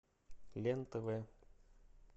лен тв